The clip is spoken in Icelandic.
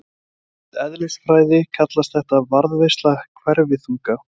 Í eðlisfræði kallast þetta varðveisla hverfiþunga.